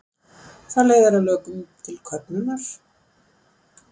það leiðir að lokum til köfnunar